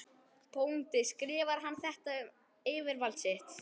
BÓNDI: Skrifar hann þetta um yfirvald sitt?